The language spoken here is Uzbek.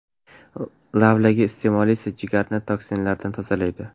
Lavlagi iste’moli esa jigarni toksinlardan tozalaydi.